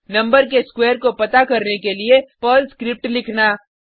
number के square को पता करने के लिए पर्ल स्क्रिप्ट लिखना